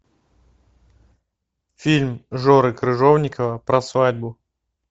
фильм жоры крыжовникова про свадьбу